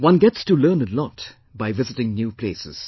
One gets to learn a lot by visiting new places